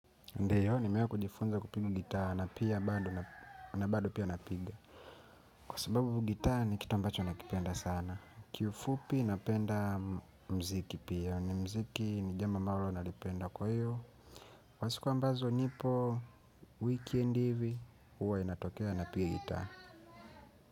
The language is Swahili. Ndio nimewai kujifunza kupiga gitaa na pia bado na bado pia napiga kwa sababu gitaa ni kitu ambacho nakipenda sana. Kiufupi napenda muziki pia ni muziki ni jambo ambalo nalipenda kwa hiyo kwa siku ambazo nipo weekend hivi huwa inatokea napiga gitaa.